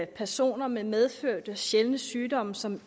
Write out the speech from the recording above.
personer med medfødte sjældne sygdomme som